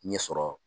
Ɲɛ sɔrɔ